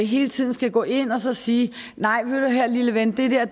hele tiden skal gå ind og sige nej hør nu her lille ven det der